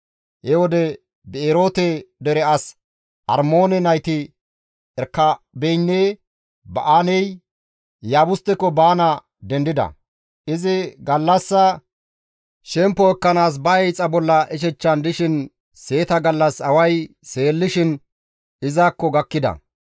He wode Bi7eroote dere as Armoone nayti Erekaabeynne Ba7aanay Iyaabusteko baana dendida; izi gallassa shemppo ekkanaas ba hiixa bolla ishechchan dishin seeta gallas away seellishin izakko gakkida.